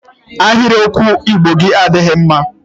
Ahịrịokwu Igbo gị adịghị mma!